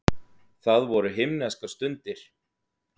Það voru himneskar stundir.